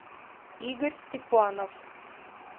игорь степанов